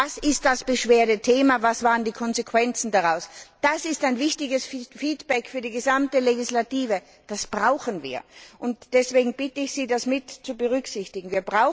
Was das Beschwerdethema ist, was die Konsequenzen daraus waren, das ist ein wichtiges Feedback für die gesamte Legislative. Das brauchen wir. Und deswegen bitte ich Sie, das mit zu berücksichtigen.